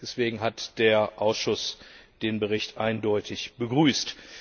Deswegen hat der Ausschuss den Bericht eindeutig begrüßt.